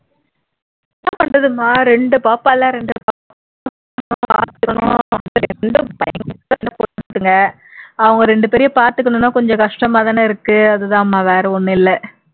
என்ன பண்றதுமா ரெண்டு பாப்பால்ல ரெண்டு அவங்க ரெண்டு பேரையும் பாத்துக்கணும்னா கொஞ்சம் கஷ்டமாதான இருக்கு அதுதான் மா வேற ஒண்ணும் இல்லை